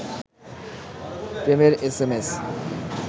প্রেমের S M S